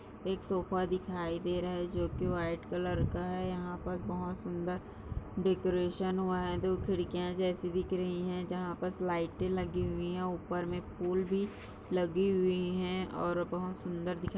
एक सोफा दिखाई दे रहा है जो की वाइट कलर का है यहाँ पर बहुत सुन्दर डेकोरेशन हुआ है दो खिड़कियाँ जैसी दिख रही है जहाँ बस लाइटे लगी हुई है ऊपर में फुल भी लगी हुई है और बहुत सुन्दर दिखाई--